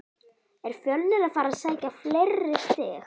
Er Fjölnir að fara að sækja fleiri stig?